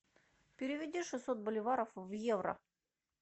переведи шестьсот боливаров в евро